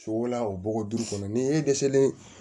Sogo la o bɔgɔ duuru kɔnɔ ni e dɛsɛlen